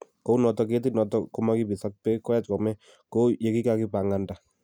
kounotok kettit notok komakibiss ak beek koyach kome, kou yekikakipanganda.